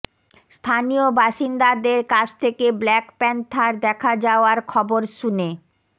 স্থানীয় বাসিন্দাদের কাছ থেকে ব্ল্যাক প্যান্থার দেখা যাওয়ার খবর শুনে